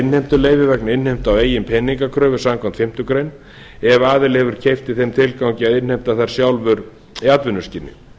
innheimtuleyfi vegna innheimtu á eigin peningakröfu samkvæmt fimmtu grein ef aðili hefur keypt í þeim tilgangi að innheimta þær sjálfur í atvinnuskyni